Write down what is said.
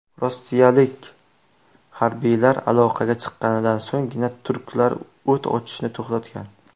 Rossiyalik harbiylar aloqaga chiqqanidan so‘nggina turklar o‘t ochishni to‘xtatgan.